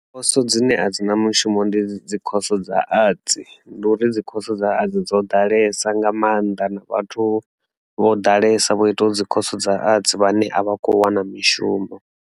Khoso dzine a dzi na mushumo ndi dzikhoso dza Arts ndi uri dzikhoso dza Arts dzo ḓalesa nga maanḓa na vhathu vho ḓalesa vho ita u dzikhoso dza Arts vhane a vha kho wana mishumo.